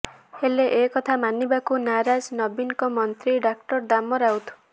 ହେଲେ ଏକଥା ମାନିବାକୁ ନାରାଜ ନବୀନଙ୍କ ମନ୍ତ୍ରୀ ଡାକ୍ତର ଦାମ ରାଉତ